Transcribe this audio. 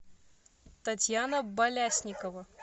татьяна болясникова